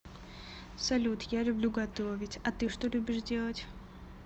салют я люблю готовить а ты что любишь делать